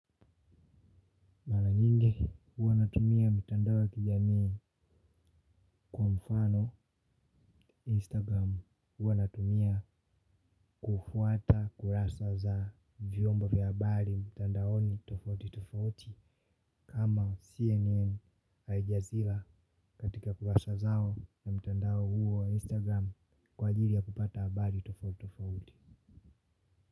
Huwa natumia mitandao ya kijamii kwa mfano Instagram. Huwa natumia kufuata kurasa za vyombo vya habari mitandaoni tofauti tofauti kama CNN Aljazeera katika kurasa zao ya mitandao huo wa Instagram kwa jili ya kupata habari tofauti tofauti.